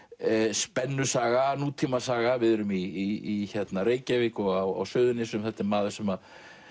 spennusaga nútímasaga við erum í Reykjavík á Suðurnesjum þetta er maður sem